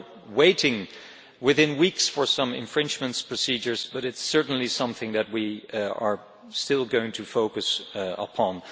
We are awaiting, within weeks, some infringement procedures, but it is certainly something that we are still going to focus upon.